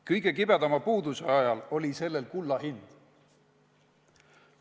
Kõige kibedama puuduse ajal oli sellel kullahind.